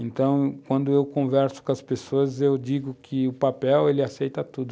Então, quando eu converso com as pessoas, eu digo que o papel ele aceita tudo.